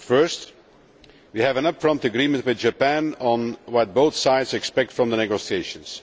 First, we have an upfront agreement with Japan on what both sides expect from the negotiations.